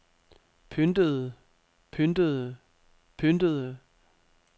pyntede pyntede pyntede